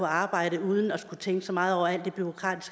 arbejde uden at skulle tænke så meget over alt bureaukratiet